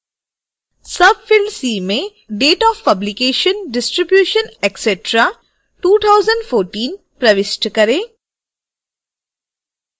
field c में date of publication distribution etc 2014 प्रविष्ट करें